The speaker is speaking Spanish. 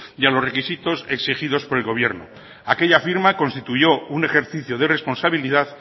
y a los requisitos exigidos por el gobierno aquella firma constituyó un ejercicio de responsabilidad